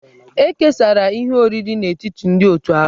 E kesara ihe oriri n'etiti ndị otù ahụ.